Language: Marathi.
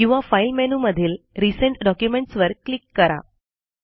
किंवा फाइल मेनू मधील रिसेंट डॉक्युमेंट्स वर क्लिक करा